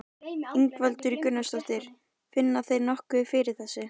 Ingveldur Geirsdóttir: Finna þeir nokkuð fyrir þessu?